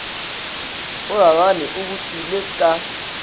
o rarane o bopilwe ka